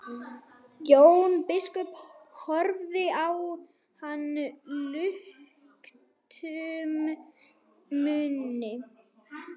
Jón biskup horfði á hann luktum munni.